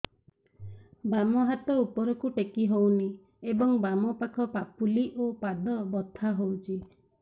ବାମ ହାତ ଉପରକୁ ଟେକି ହଉନି ଏବଂ ବାମ ପାଖ ପାପୁଲି ଓ ପାଦ ବଥା ହଉଚି